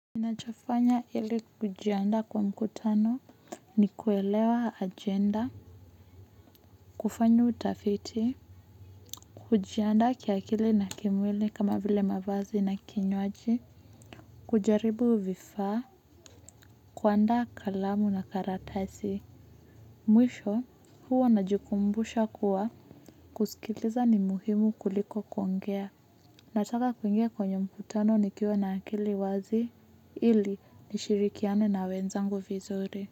Ninachofanya ili kujiandaa kwa mkutano ni kuelewa agenda, kufanya utafiti, kujianda kiakili na kimwili kama vile mavazi na kinywaji, kujaribu vifaa, kuaanda kalamu na karatasi, mwisho huo najikumbusha kuwa kusikiliza ni muhimu kuliko kuongea, nataka kuingia kwenye mkutano ni kiwa na akili wazi ili nishirikiane na wenzangu vizuri.